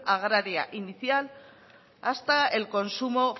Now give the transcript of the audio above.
agraria inicial hasta el consumo